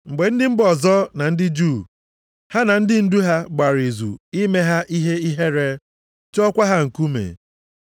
Mgbe ndị mba ọzọ, na ndị Juu, ha na ndị ndu ha, gbara izu ime ha ihe ihere, tụọkwa ha nkume.